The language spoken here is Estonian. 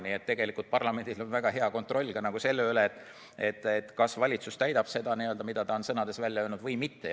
Nii et tegelikult parlamendis on väga hea kontroll selle üle, kas valitsus täidab seda, mida ta on sõnades välja öelnud, või mitte.